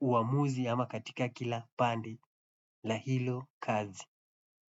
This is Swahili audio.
uamuzi ama katika kila pande la hilo kazi.